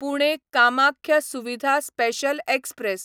Pune Kamakhya Suvidha special express